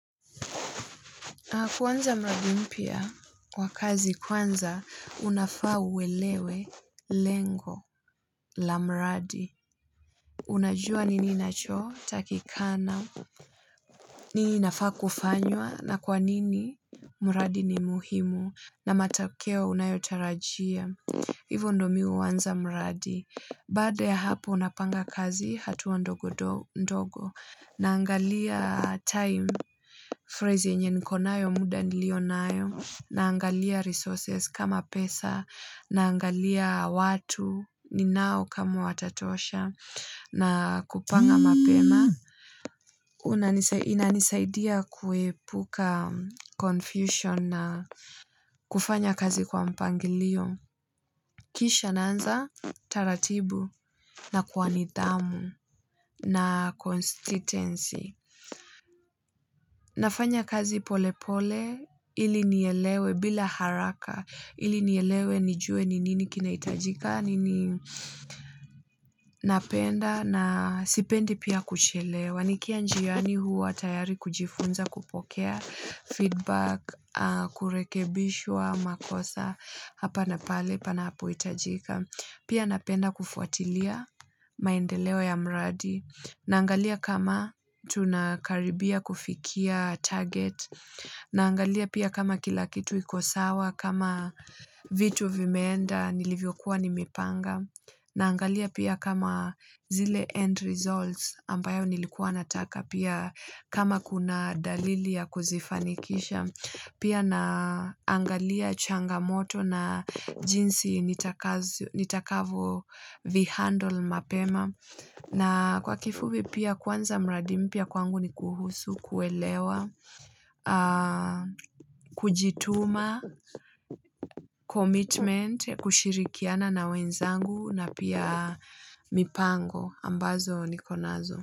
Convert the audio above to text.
Kwanza mradi mpya, kwa kazi kwanza, unafaa uelewe, lengo, la mradi. Unajua nini inacho, takikana, nini inafaa kufanywa, na kwa nini, muradi ni muhimu, na matakeo unayotarajia. Ivo ndo mi huanza mradi. Baada ya hapo napanga kazi, hatuwa ndogo, ndogo. Naangalia time, phrase yenye niko nayo muda niliyonayo. Naangalia resources kama pesa. Naangalia watu, ninao kama watatosha. Na kupanga mapema. Inanisaidia kuepuka confusion na kufanya kazi kwa mpangilio. Kisha naanza utaratibu na kwa nidhamu na constitency. Nafanya kazi pole pole, ili nielewe, bila haraka. Ili nielewe nijuwe ni nini kinaitajika, ni nini napenda, na sipendi pia kuchelewa. Nikiwa njiyani huwa tayari kujifunza, kupokea feedback, kurekebisha makosa. Apa na pale, panapohitajika. Pia napenda kufuatilia, maendeleo ya muradi. Naangalia kama tunakaribia kufikia target. Naangalia pia kama kila kitu iko sawa, kama vitu vimeenda, nilivyokuwa nimepanga. Naangalia kama zile end results. Ambayo nilikuwa nataka pia kama kuna dalili ya kuzifanikisha. Pia naangalia changamoto na jinsi nitakavo vihandle mapema. Kwa kifupi pia kuanza muradimpya kwangu ni kuhusu, kuelewa, kujituma, commitment, ya kushirikiana na wenzangu na pia mipango. Ambazo niko nazo.